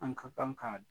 An ka kan ka